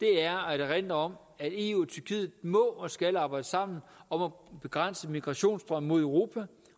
at erindre om at eu og tyrkiet må og skal arbejde sammen om at begrænse migrationsstrømmen mod europa